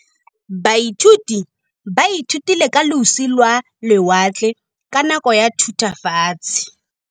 Baithuti ba ithutile ka losi lwa lewatle ka nako ya Thutafatshe.